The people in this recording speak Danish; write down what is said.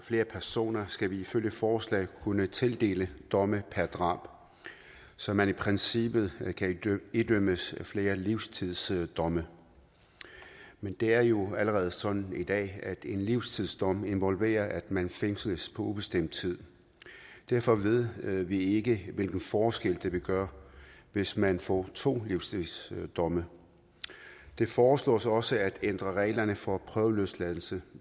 flere personer skal vi ifølge forslaget kunne tildele en dom per drab så man i princippet kan idømmes flere livstidsdomme men det er jo allerede sådan i dag at en livstidsdom involverer at man fængsles på ubestemt tid derfor ved vi ikke hvilken forskel det vil gøre hvis man får to livstidsdomme det foreslås også at ændre reglerne for prøveløsladelse